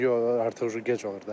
Yox, artıq gec olur da.